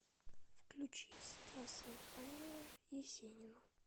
включи стаса михайлова есенину